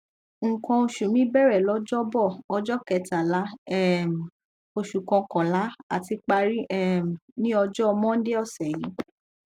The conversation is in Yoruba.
nkan osu mi bẹrẹ lọjọbọ ọjọ kẹtàlá um oṣù kọkànlá àti parí um ní ọjọ mọndé ọsẹ yìí